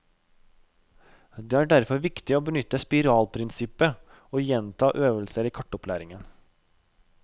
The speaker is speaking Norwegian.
Det er derfor viktig å benytte spiralprinsippet og gjenta øvelser i kartopplæringen.